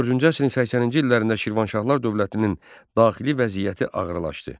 14-cü əsrin 80-ci illərində Şirvanşahlar dövlətinin daxili vəziyyəti ağırlaşdı.